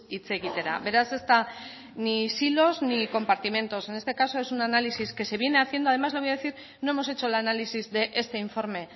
hitz egitera beraz ez da ni silos ni compartimentos en este caso es un análisis que se viene haciendo además le voy a decir no hemos hecho el análisis de este informe